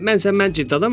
Mən sən, mən ciddi adamam.